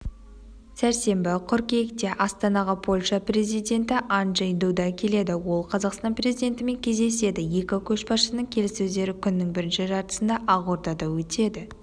сәрсенбі қыркүйекте астанаға польша президентіанджей дуда келеді ол қазақстан президентімен кездеседі екі көшбасшының келіссөздері күннің бірінші жартысында ақордада өтеді